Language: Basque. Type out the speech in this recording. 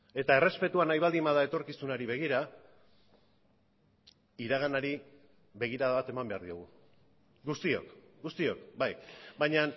eta errespetua nahi baldin bada etorkizunari begira iraganari begirada bat eman behar diogu guztiok guztiok bai baina